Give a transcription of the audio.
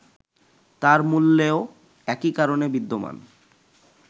তার মূলেও একই কারণ বিদ্যমান